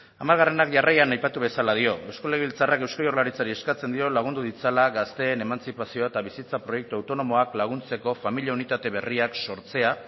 hamarak jarraian aipatu bezala dio eusko legebiltzarrak eusko jaurlaritzari eskatzen dio lagundu ditzala gazteen emantzipazioa eta bizitza proiektu autonomoak laguntzeko familia unitate berriak sortzea